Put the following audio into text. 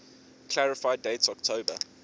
clarify date october